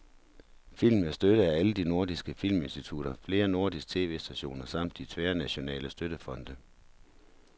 Filmen er støttet af alle de nordiske filminstitutter, flere nordiske tv-stationer samt de tværnationale støttefonde.